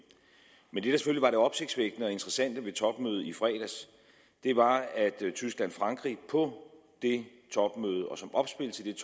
men det der selvfølgelig var det opsigtsvækkende og interessante ved topmødet i fredags var at tyskland og frankrig på det topmøde og som opspil til det